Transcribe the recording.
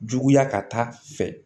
Juguya ka taa fɛ